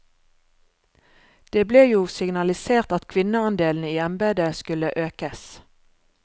Det ble jo signalisert at kvinneandelen i embedet skulle økes.